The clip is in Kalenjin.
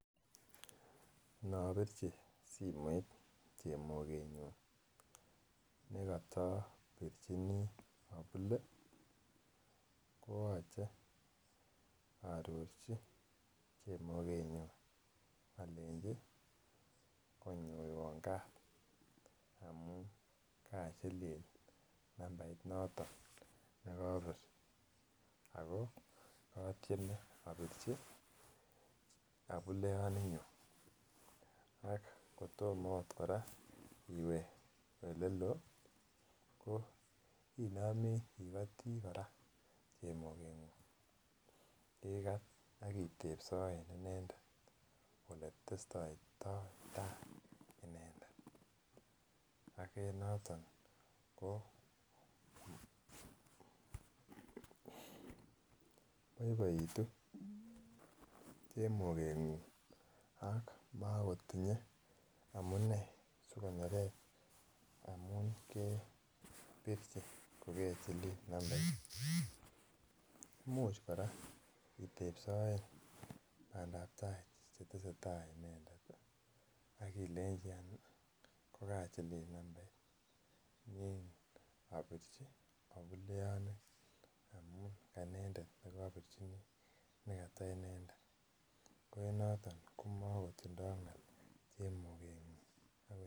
Ano birchi simoit chemogenyun nekoto birchini abule ko yoche aarorchi chemogenyun alenji konyoiwan Kat amun kachilil nambait noton nekobir ako kotieme abirchi abuleyoninyun ako kotomo okot kora iwe oleloo ko inome igoti kora chemogengung ikat ak itepsoen inendet Ole testoitotai inendet ak en noton ko boiboitu chemogengung ak makotinye amune asi konerech amun kebirchi kogechilil nambait Imuch kora itepsoen bandap tai Che tesetai inendet ak ilenji ko kachilil nambait Nan abirchi abule amun kainendet nekobirchini nekata inendet ko en noton komakotindoi ngaal chemogenyun